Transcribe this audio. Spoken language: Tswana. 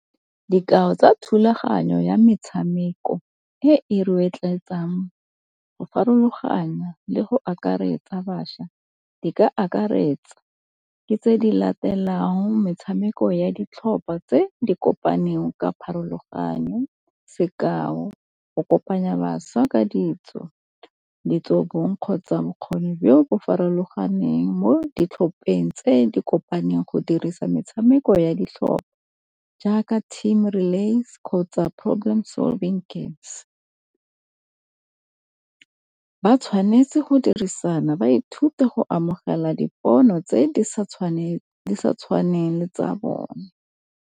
Dikao tsa thulaganyo ya metshameko e e rotloetsang go farologanya le go akaretsa bašwa di ka akaretsa di tse di latelang metshameko ya ditlhopha tse di kopaneng ka pharologanyo, sekao, go kopanya bašwa ka ditso, ditso bong kgotsa bokgoni jo bo farologaneng mo ditlhopeng tse di kopaneng go dirisa metshameko ya ditlhopha jaaka team relays kgotsa problem solving games. Ba tshwanetse go dirisana ba ithute go amogela dipono tse di sa tshwaneng le tsa bone.